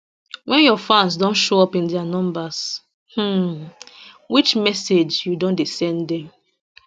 wen your fans don show up in dia numbers um which message you don dey send dem